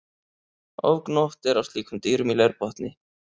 Ofgnótt er af slíkum dýrum í leirbotni.